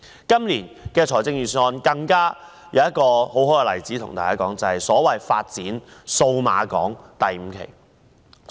今年的預算案還有一個很好的例子，就是發展數碼港第五期。